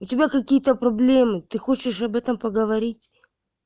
у тебя какие-то проблемы ты хочешь об этом поговорить